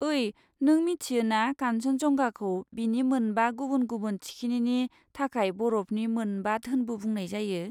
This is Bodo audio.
ओइ, नों मिथियो ना कान्चनजंगाखौ बिनि मोनबा गुबुन गुबुन थिखिनिनि थाखाय बरफनि मोनबा धोनबो बुंनाय जायो?